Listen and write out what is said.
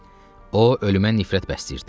O, ölümə nifrət bəsləyirdi.